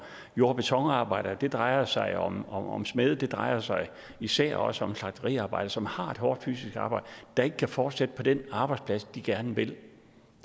jord og betonarbejdere det drejer sig om om smede og det drejer sig især også om slagteriarbejdere som har et hårdt fysisk arbejde der ikke kan fortsætte på den arbejdsplads de gerne vil